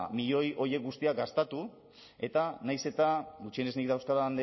milioi horiek guztiak gastatu eta nahiz eta gutxienez nik dauzkadan